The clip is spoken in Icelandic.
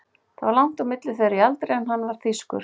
Það var langt á milli þeirra í aldri en hann var þýskur.